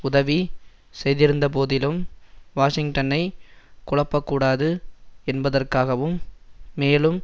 உதவி செய்திருந்தபோதிலும் வாஷிங்டனை குழப்பக்கூடாது என்பதற்காகவும் மேலும்